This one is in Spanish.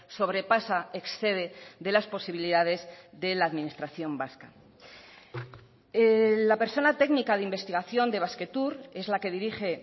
sobrepasa excede de las posibilidades de la administración vasca la persona técnica de investigación de basquetour es la que dirige